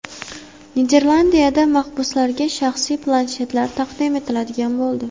Niderlandiyada mahbuslarga shaxsiy planshetlar taqdim etiladigan bo‘ldi.